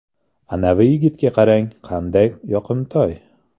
Anavi yigitga qarang, qanday yoqimtoy.